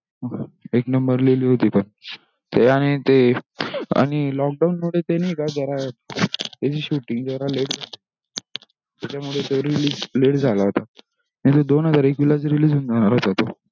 एक नंबर लिहली होती पण ते आणि ते lockdown मुळे ते नि ही का त्याची shooting जरा लेट त्याचमुळे तो release let झाला होता नाही तो दोन हजार एकवीस लाच release होऊन जाणार होता तो